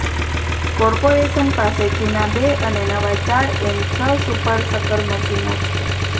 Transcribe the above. corporation પાસે જૂના બે અને નવા ચાર એમ છ સુપરશકર મશીનો છે